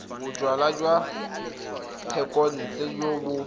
bojalwa jwa thekontle jo bo